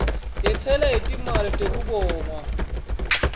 yentsela yetimali tekubongwa